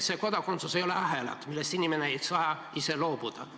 Aga kodakondsus ei ole ahelad, millest inimene ei saa ise loobuda.